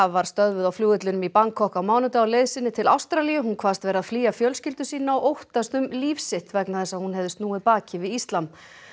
var stöðvuð á flugvellinum í Bangkok á mánudag á leið sinni til Ástralíu hún kvaðst vera að flýja fjölskyldu sína og óttast um líf sitt vegna þess að hún hefði snúið baki við íslam